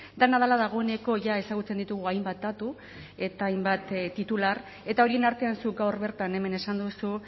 dena dela dagoeneko ja ezagutzen ditugu hainbat datu eta hainbat titular eta horien artean zuk gaur bertan hemen esan duzu